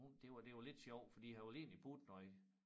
Hun det var det var lidt sjovt for de havde jo egentlig budt noget